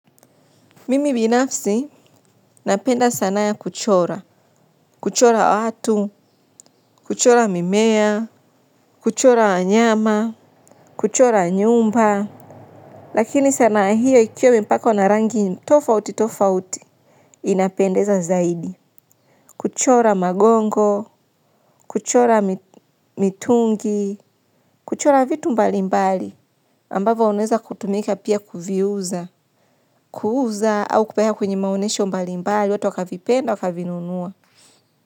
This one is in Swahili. Mimi binafsi, napenda sanaa ya kuchora, kuchora watu, kuchora mimea, kuchora wanyama, kuchora nyumba, lakini sanaa hiyo ikiwa imepakwa na rangi tofauti tofauti, inapendeza zaidi. Kuchora magongo, kuchora mitungi, kuchora vitu mbali mbali, ambavyo unaeza kutumika pia kuviuza, kuuza au kupeana kwenye manyesho mbali mbali, watu wakavipenda wakavinunuwa.